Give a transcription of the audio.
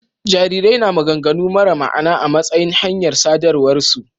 Jarirai na maganganu mara ma'ana a matsayin hanyar sadarwarsu.